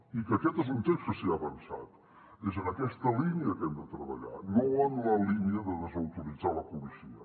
i que aquest és un text que s’hi ha avançat és en aquesta línia que hem de treballar no en la línia de desautoritzar la policia